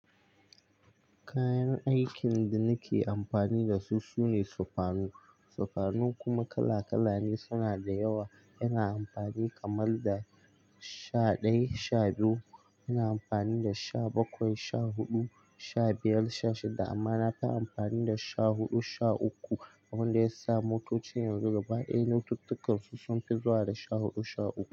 Kayan aikin da nake amfani da su sune sufanu. Sufanu kuma kala kala ne, suna da yawa. Yana amfani kamar da sha ɗaya, sha biyu, ina amfani da sha bakwai, sha huɗu, sha biyar, sha shida amma na fi amfani da sha huɗu sha uku. Abin da ya sa motocin yanzu gaba ɗaya notit ɗin su sunfi zuwa da sha huɗu sha uku.